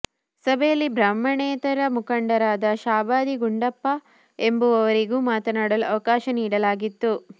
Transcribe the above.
ಸಭೆಯಲ್ಲಿ ಬ್ರಾಹ್ಮಣೇತರ ಮುಖಂಡರಾದ ಶಾಬಾದಿ ಗುಂಡಪ್ಪ ಎಂಬುವವರಿಗೂ ಮಾತನಾಡಲು ಅವಕಾಶ ನೀಡಲಾಗಿತ್ತು